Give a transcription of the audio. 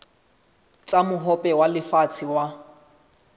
tsa mohope wa lefatshe wa